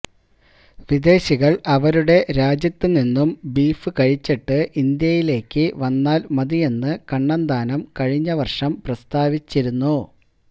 വിദേശികള് അവരുടെ രാജ്യത്തു നിന്നും ബീഫ് കഴിച്ചിട്ട് ഇന്ത്യയിലേക്ക് വന്നാല് മതിയെന്ന് കണ്ണന്താനം കഴിഞ്ഞ വര്ഷം പ്രസ്താവിച്ചിരുന്നു